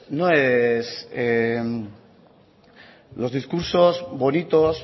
no es los discursos bonitos